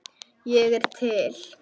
Ég er til